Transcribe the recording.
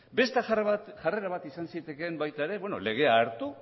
beste jarrera bat izan zitekeen baita ere legea hartu